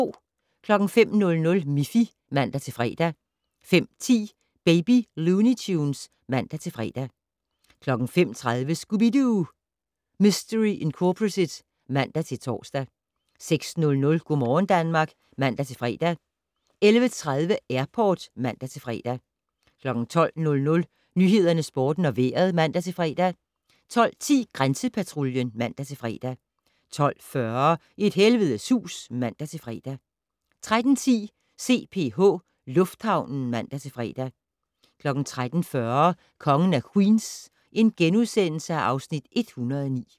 05:00: Miffy (man-fre) 05:10: Baby Looney Tunes (man-fre) 05:30: Scooby-Doo! Mistery Incorporated (man-tor) 06:00: Go' morgen Danmark (man-fre) 11:30: Airport (man-fre) 12:00: Nyhederne, Sporten og Vejret (man-fre) 12:10: Grænsepatruljen (man-fre) 12:40: Et helvedes hus (man-fre) 13:10: CPH Lufthavnen (man-fre) 13:40: Kongen af Queens (Afs. 109)*